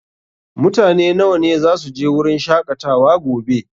Mutane nawa ne zasu je wurin shaƙatawa gobe?